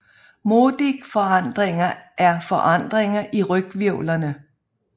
Modic forandringer er forandringer i ryghvirvlerne